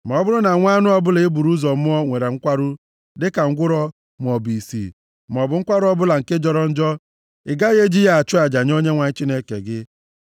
Ma ọ bụrụ na nwa anụ ọbụla e buru ụzọ mụọ nwere nkwarụ, dịka ngwụrọ maọbụ ìsì maọbụ nkwarụ ọbụla nke jọrọ njọ, ị gaghị eji ya achụ aja nye Onyenwe anyị Chineke gị.